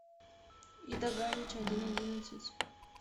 ида галич один одиннадцать